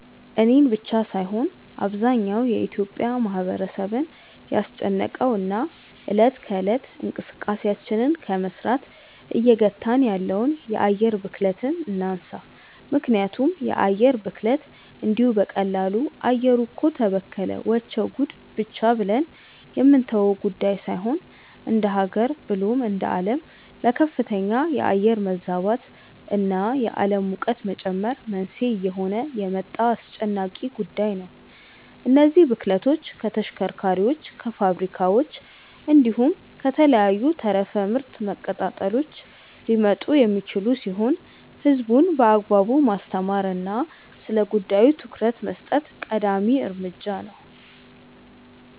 እኔን ብቻ ሳይሆን አብዛኛው የኢትዮጲያ ማህበረሰብን ያስጨነቀውን እና እለት ከእለት እንቅስቃሴያችንን ከመስራት እየገታን ያለውን የአየር ብክለትን እናንሳ። ምክንያቱም የአየር ብክለት እንዲሁ በቀላሉ “አየሩ እኮ ተበከለ… ወቸው ጉድ” ብቻ ብለን የምንተወው ጉዳይ ሳይሆን እንደሃገር ብሎም እንደአለም ለከፍተኛ የአየር መዛባት እና የአለም ሙቀት መጨመር መንስኤ እየሆነ የመጣ አስጨናቂ ጉዳይ ነው። እነዚህ ብክለቶች ከተሽከርካሪዎች፣ ከፋብሪካዎች፣ እንዲሁም ከተለያዩ ተረፈ ምርት መቀጣጠሎች ሊመጡ የሚችሉ ሲሆን ህዝቡን በአግባቡ ማስተማር እና ስለጉዳዩ ትኩረት መስጠት ቀዳሚ እርምጃ ነው።